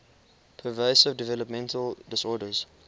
pervasive developmental disorders